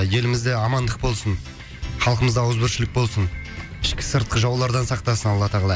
елімізде амандық болсын халқымызда ауызбіршілік болсын ішкі сыртқы жаулардан сақтасын алла тағала